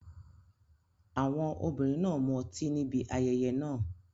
Àwọn obìnrin náà mu ọtí níbi ayẹyẹ náà.